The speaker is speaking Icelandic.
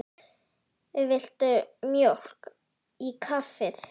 Viltu mjólk í kaffið?